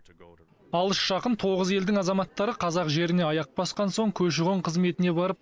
алыс жақын тоғыз елдің азаматтары қазақ жеріне аяқ басқан соң көші қон қызметіне барып